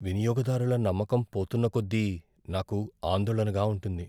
వినియోగదారుల నమ్మకం పోతున్నకొద్దీ నాకు ఆందోళనగా ఉంటుంది.